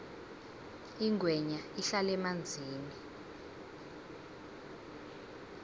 ingwenya ihlala emanzini